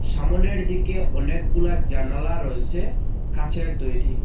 সামোনের দিকে অনেকগুলা জানালা রয়েসে কাঁচের তৈরি।